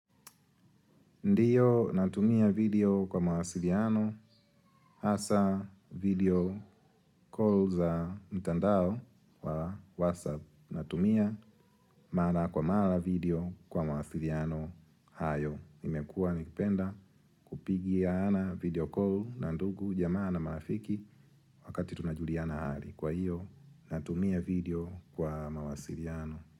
Ndio natumia video kwa mawasiliano hasa video call za mtandao wa WhatsApp natumia mara kwa mara video kwa mawasiliano hayo. Nimekuwa nikipenda kupigiaana video call na ndugu jamaa na marafiki wakati tunajuliana hali. Kwa hiyo natumia video kwa mawasiliano.